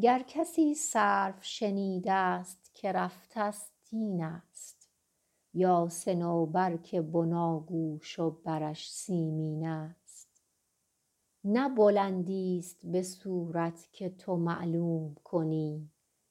گر کسی سرو شنیده ست که رفته ست این است یا صنوبر که بناگوش و برش سیمین است نه بلندیست به صورت که تو معلوم کنی